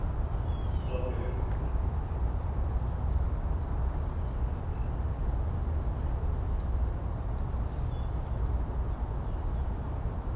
Erla Björg: Finnst ykkur þá ekki nógu mikið fjallað um þessi málefni bara í leikhúsunum?